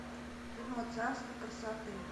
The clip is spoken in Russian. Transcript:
кино царство красоты